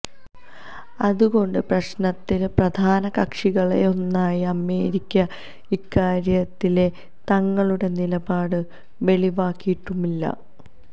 അതുകൊണ്ട് പ്രശ്നത്തിലെ പ്രധാന കക്ഷികളിലൊന്നായ അമേരിക്ക ഇക്കാര്യത്തിലെ തങ്ങളുടെ നിലപാട് വെളിവാക്കിയിട്ടുമില്ല